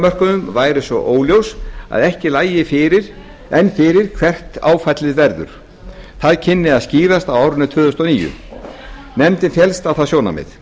eignamörkuðum væri svo óljós að ekki lægi enn fyrir hvert áfallið verður það kynni að skýrast á árinu tvö þúsund og níu nefndin féllst á það sjónarmið